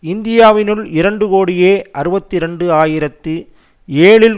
இந்தியாவினுள் இரண்டு கோடியே அறுபத்தி இரண்டு ஆயிரத்தி ஏழில்